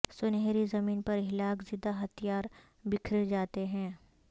سنہری زمین پر ہلاک زدہ ہتھیار بکھر جاتے ہیں